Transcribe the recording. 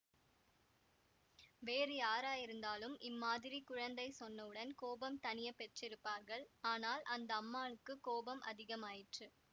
வேறு யாராயிருந்தாலும் இம்மாதிரி குழந்தை சொன்னவுடன் கோபம் தணியப் பெற்றிருப்பார்கள் ஆனால் அந்த அம்மாளுக்குக் கோபம் அதிகமாயிற்று